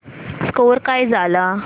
score काय झाला